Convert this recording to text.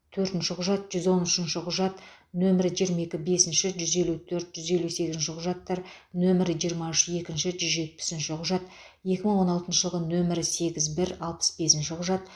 төртінші құжат жүз он үшінші құжат нөмірі жиырма екі бесінші жүз елу төрт жүз елу сегізінші құжаттар нөмірі жиырма үш екінші жүз жетпісінші құжат екі мың он алтыншы жылғы нөмірі сегіз бір алпыс бесінші құжат